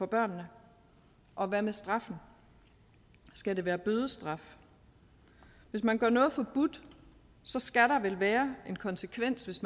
børnene og hvad med straffen skal det være bødestraf hvis man gør noget forbudt skal der vel være en konsekvens hvis